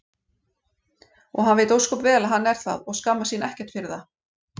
og hann veit ósköp vel að hann er það og skammast sín ekkert fyrir það.